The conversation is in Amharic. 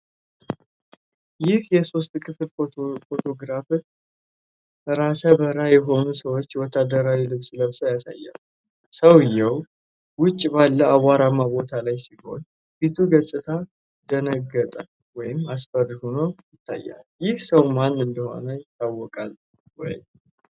ይህ የሶስት ክፍል ፎቶግራፍ ራሰ በራ የሆነን ሰው ወታደራዊ ልብስ ለብሶ ያሳያል። ሰውዬው ውጪ ባለ አቧራማ ቦታ ላይ ሲሆን፣ የፊቱ ገፅታ ደነገጠ ወይም አስፈሪ ሆኖ ይታያል። ይህ ሰው ማን እንደሆነ ይታወቃል ወይ?